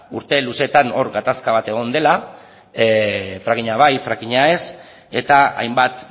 urte luzetan hor gatazka bat egon dela frackinga bai frackinga ez eta hainbat